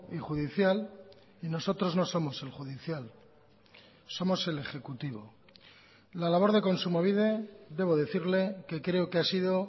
y judicial y nosotros no somos el judicial somos el ejecutivo la labor de kontsumobide debo decirle que creo que ha sido